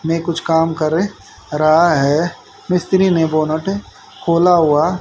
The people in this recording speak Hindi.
में कुछ काम कर रहा है मिस्त्री ने बोनट खोला हुआ--